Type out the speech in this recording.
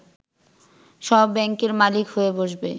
সব ব্যাংকের মালিক হয়ে বসবে